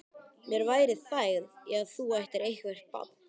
Mér væri þægð í að þú ættir eitthvert barn.